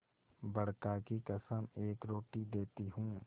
बड़का की कसम एक रोटी देती हूँ